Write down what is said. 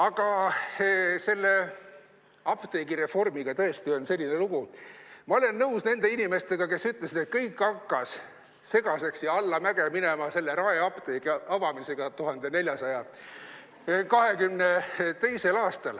Aga selle apteegireformiga on tõesti selline lugu: ma olen nõus nende inimestega, kes ütlesid, et kõik hakkas segaseks ja allamäge minema selle Raeapteegi avamisega 1422. aastal.